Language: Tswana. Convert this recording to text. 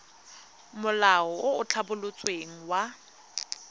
molao o o tlhabolotsweng wa